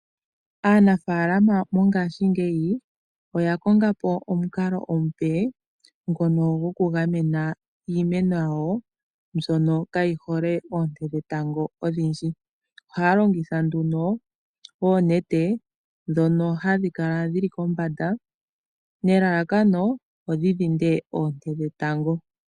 Aanafaalama ngashingeyi oya kongapo omukalo omupe goku gamena iimeno yawo mbyono kaa yihole oonte dhetango odhindji. Oha ya longitha oonete ndhono ha dhi kala dhili kombanda lelalakano opo dhi keelele oonte dhetango.